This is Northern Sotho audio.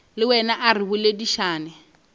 le wena a re boledišane